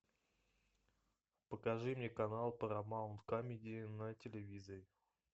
покажи мне канал парамаунт камеди на телевизоре